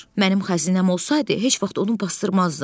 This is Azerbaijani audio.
Mənim xəzinəm olsaydı, heç vaxt onu basdırmazdım.